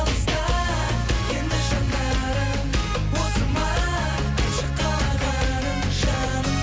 алыста енді жанарың осы ма шың қалағаның жаным